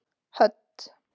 Hödd